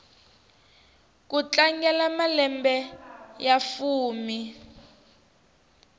ku tlangela malembe ya fumi